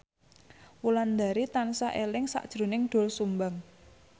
Wulandari tansah eling sakjroning Doel Sumbang